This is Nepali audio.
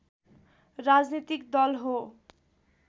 राजनीतिक दल हो